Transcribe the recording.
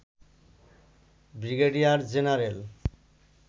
brigadier general